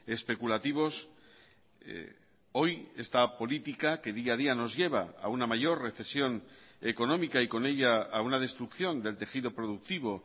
especulativos hoy esta política que día a día nos lleva a una mayor recesión económica y con ella a una destrucción del tejido productivo